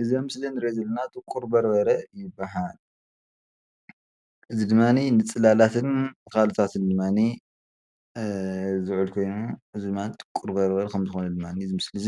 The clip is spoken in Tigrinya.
እዚ ኣብ ምስሊ እንሪኦ ዘለና ጥቁርበርበረ ይባሃል፡፡ እዚ ድማ ንፅላላትን ንካልእ ድማ ዝውዕል ኮይኑ እዚ ድማ ጥቁርበርበረ ከም ዝኮነ እዚ ምስሊ እዚ